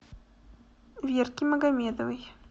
верки магомедовой